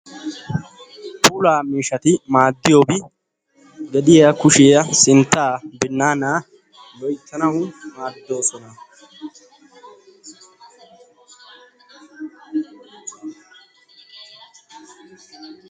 Puulaa miishati maaddiyoobi gediya kushiyaa sinttaa binnaanaa loyttanau maaddoosona.